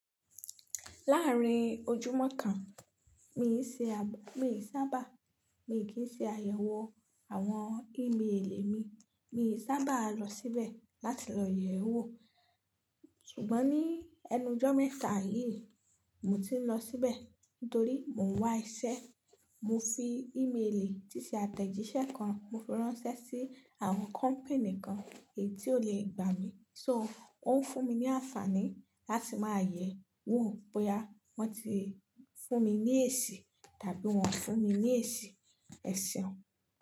Láàárín ojúmọ́ kan, mi ò sábà, mi kì í ṣe àyẹ̀wò àwọn ímeèlì mi, mi ò sábà lọ síbẹ̀ láti lọ yẹ̀wò. Ṣùgbọ́n ní ẹnu ọjọ́ mẹ́ta yìí, mo ti ń lọ síbẹ̀ nítorí mo ń wá iṣẹ́. Mo fi ímeèlì, tíṣì àtẹ̀jíṣẹ́ kan, mo fi ránṣẹ́ sí àwọn kọ́pì̀nì kan èyí tí ó lè gbà mí. So ó ń fún mi ní àǹfààní láti máa yẹ̀wò bóyá wọ́n ti fún mi ní èsì tàbí wọ́n fún mi ní èsì eseun.